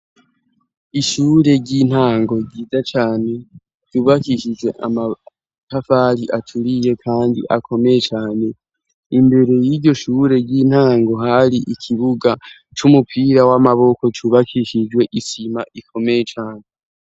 Ishure ry'intango ryiza cane ryubakishije amatafari acuriye, kandi akomeye cane imbere y'iryo shure ry'intango hari ikibuga c'umupira w'amaboko cubakishijwe isima ikomeye cane.